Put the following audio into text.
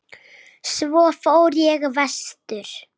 Svo fór ég vestur.